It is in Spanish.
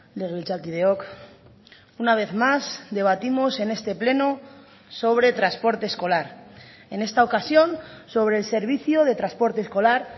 legebiltzarkideok una vez más debatimos en este pleno sobre transporte escolar en esta ocasión sobre el servicio de transporte escolar